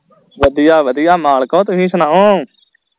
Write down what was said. ਵਧੀਆ ਵਧੀਆ ਮਾਲਕੋ ਤੁਹੀ ਸੁਣਾਓ